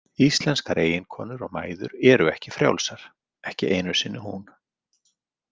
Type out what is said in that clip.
Íslenskar eiginkonur og mæður eru ekki frjálsar, ekki einu sinni hún.